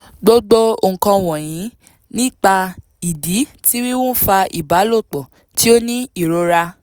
gbogbo nkan wọnyi nipa idi ti wiwu nfa ibalopọ ti o ni irora